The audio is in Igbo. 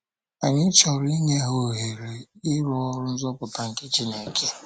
Anyị chọrọ inye ha ohere, ịrụ oru nzọpụta nke Chineke.